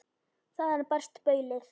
Þaðan barst baulið.